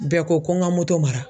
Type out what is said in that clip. Bɛɛ ko ko n ka mara.